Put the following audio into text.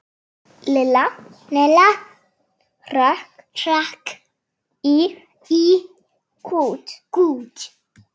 Lilla hrökk í kút.